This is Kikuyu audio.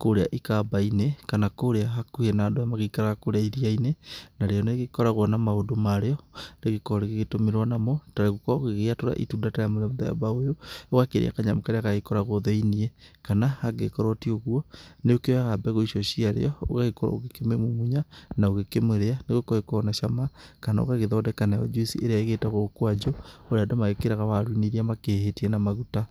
kũrĩa ikamba-inĩ, kana kũrĩa hakuhĩ na andũ arĩa magĩikaraga iria-inĩ. Narĩo nĩ rĩkoragwo na maũndũ marĩo rĩgĩkoragwo rĩgĩtũmĩrwo namo ta gũgĩkorwo ũgĩgĩatura itunda rĩa mũthemba ũyũ, ũgakĩrĩa kanyamũ karĩa gakoragwo thĩiniĩ. Kana angĩgĩkorwo ti ũguo nĩ ũkĩoyaga mbegũ icio ciaguo ũgagĩkorwo ũgĩkĩmĩmumunya na ũgĩkĩmĩrĩa nĩ gũkorwo ikoragwo na cama. Kana ũgagĩthondeka nayo njuici ĩrĩa ĩgĩtagwo mkwanjũ ĩrĩa andũ mekagĩra waru-inĩ iria makihĩhĩtie na maguta.